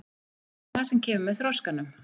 Það er það sem kemur með þroskanum.